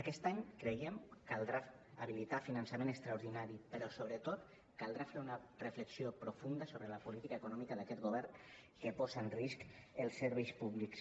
aquest any creiem caldrà habilitar finançament extraordinari però sobretot caldrà fer una reflexió profunda sobre la política econòmica d’aquest govern que posa en risc els serveis públics